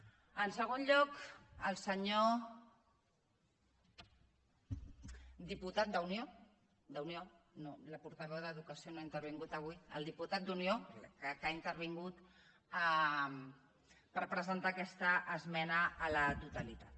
en segon lloc al senyor diputat d’unió d’unió la portaveu d’educació no ha intervingut avui al diputat d’unió que ha intervingut per presentar aquesta esmena a la totalitat